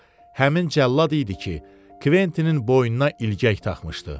Bu həmin cəllad idi ki, Kventinin boynuna ilgək taxmışdı.